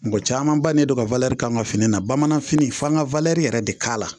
Mɔgɔ caman ba ne don ka k'an ka fini na bamananfini f'an ka yɛrɛ de k'a la